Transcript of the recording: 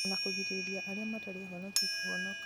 ona kũrigĩrĩria arĩa matarĩ ahonoki kũhonoka